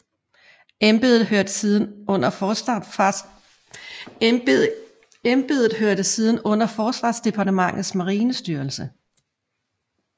Embedet hørte siden under forsvarsdepartementets marinestyrelse